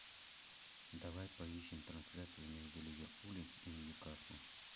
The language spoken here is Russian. давай поищем трансляцию между ливерпулем и ньюкаслом